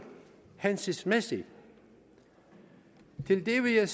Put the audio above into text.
hensigtsmæssige til det vil jeg